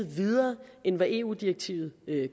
videre end hvad eu direktivet